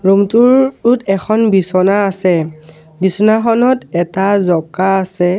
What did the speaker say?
Room টোৰ টোত এখন বিছনা আছে বিছনাখনত এটা জঁকা আছে।